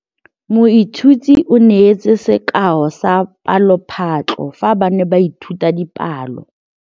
Moithuti o neetse sekaô sa palophatlo fa ba ne ba ithuta dipalo.